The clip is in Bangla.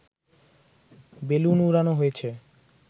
বেলুন উড়ানো হয়েছে